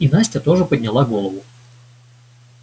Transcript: и настя тоже подняла голову